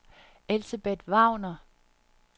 Elsebeth Wagner